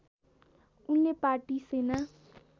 उनले पार्टी सेना